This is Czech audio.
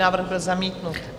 Návrh byl zamítnut.